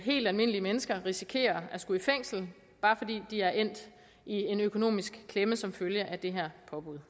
helt almindelige mennesker risikerer at skulle i fængsel bare fordi de er endt i en økonomisk klemme som følge af det her påbud